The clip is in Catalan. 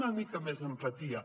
una mica més d’empatia